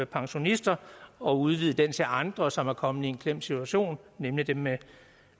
pensionister og udvidet den til andre som er kommet i en klemt situation nemlig dem med